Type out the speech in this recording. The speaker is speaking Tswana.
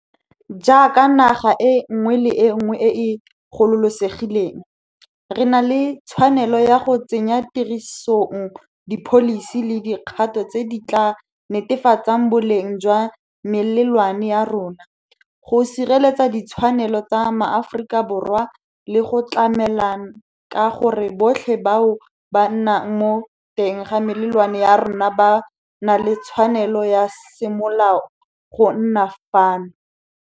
Jaaka naga e nngwe le e nngwe e e gololosegileng, re na le tshwanelo ya go tsenya tirisong dipholisi le dikgato tse di tla netefatsang boleng jwa melelwane ya rona, go sireletsa ditshwanelo tsa Maaforikaborwa le go tlamela ka gore botlhe bao ba nnang mo teng ga melelwane ya rona ba na le tshwanelo ya semolao go nna fano.